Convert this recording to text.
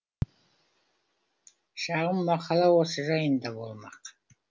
шағын мақала осы жайында болмақ